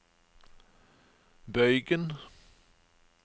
bøygen